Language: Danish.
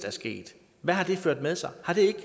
er sket hvad har det ført med sig